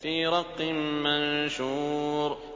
فِي رَقٍّ مَّنشُورٍ